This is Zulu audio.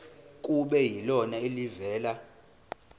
kube yilona elivela